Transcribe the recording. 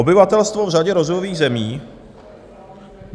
Obyvatelstvo v řadě rozvojových zemí...